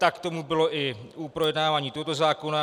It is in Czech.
Tak tomu bylo i u projednávání tohoto zákona.